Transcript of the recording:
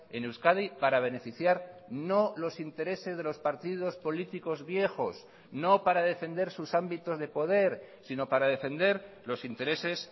en euskadi para beneficiar no los intereses de los partidos políticos viejos no para defender sus ámbitos de poder sino para defender los intereses